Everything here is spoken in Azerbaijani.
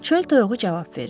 Çöl toyuğu cavab verir.